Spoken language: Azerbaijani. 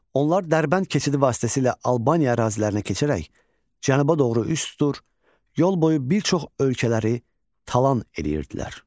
Onlar Dərbənd keçidi vasitəsilə Albaniya ərazilərinə keçərək cənuba doğru üz tutur, yol boyu bir çox ölkələri talan edirdilər.